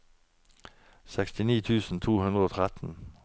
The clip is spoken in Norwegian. sekstini tusen to hundre og tretten